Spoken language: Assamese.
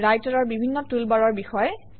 ৰাইটাৰৰ বিভিন্ন টুলবাৰৰ বিষয়ে